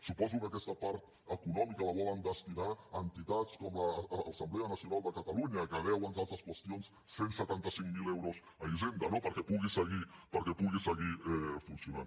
suposo que aquesta part econòmica la volen destinar a entitats com l’assemblea nacional de catalunya que deu entre altres qüestions cent i setanta cinc mil euros a hisenda no perquè pugui seguir funcionant